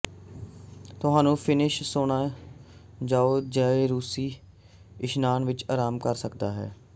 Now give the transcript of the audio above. ਤੁਹਾਨੂੰ Finnish sauna ਜਾਓ ਜ ਰੂਸੀ ਇਸ਼ਨਾਨ ਵਿਚ ਆਰਾਮ ਕਰ ਸਕਦਾ ਹੈ